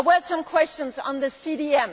There were some questions on the